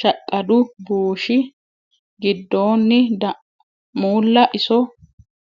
shaqqadu bushshi giddonni da muulla iso.